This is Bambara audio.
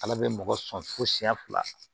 Ala bɛ mɔgɔ sɔrɔ fo siyɛn fila